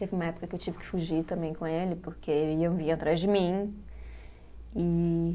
Teve uma época que eu tive que fugir também com ele, porque iam vir atrás de mim. E